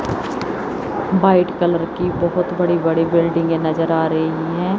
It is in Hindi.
व्हाइट कलर की बहुत बड़ी-बड़ी बिल्डिंगे नज़र आ रही हैं।